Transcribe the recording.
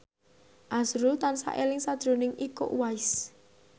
azrul tansah eling sakjroning Iko Uwais